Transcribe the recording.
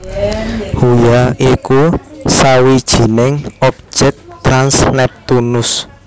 Huya iku sawijining objèk trans Neptunus